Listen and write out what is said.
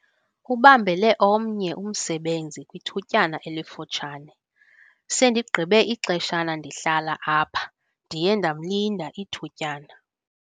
Ubambele omnye umsebenzi kwithutyana elifutshane. sendigqibe ixeshana ndihlala apha, ndiye ndamlinda ithutyana